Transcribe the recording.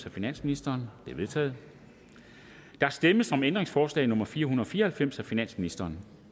af finansministeren de er vedtaget der stemmes om ændringsforslag nummer fire hundrede og fire og halvfems af finansministeren